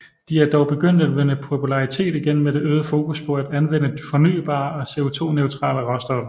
De er dog begyndt at vinde popularitet igen med det øgede fokus på at anvende fornybare og CO2 neutrale råstoffer